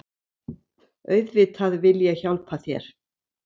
Auðvitað vil ég hjálpa þér.